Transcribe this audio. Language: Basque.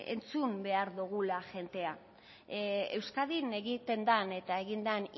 entzun behar dogula jendea euskadin egiten den eta egin den